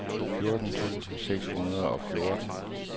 fjorten tusind seks hundrede og fjorten